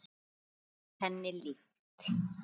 Svarið henni líkt.